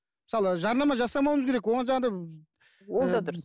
мысалы жарнама жасамауымыз керек оған жаңағындай ыыы ол да дұрыс